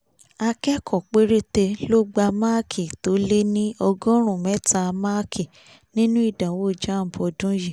akẹ́kọ̀ọ́ péréte ló gba máàkì tó lé ní ọgọ́rùn mẹ́ta máàkì nínú ìdánwò jamb ọdún yìí